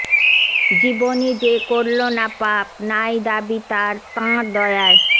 জীবনে যে করল না পাপ নাই দাবি তার তাঁর দয়ায়